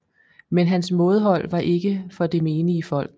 Men hans mådehold var ikke for det menige folk